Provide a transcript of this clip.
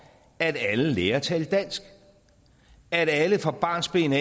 at alle lærer at tale dansk at alle fra barnsben